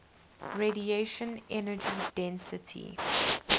radiation energy density